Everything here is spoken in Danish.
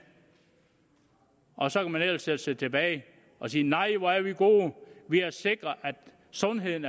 og så kan man ellers sætte sig tilbage og sige nej hvor er vi gode vi har sikret at sundheden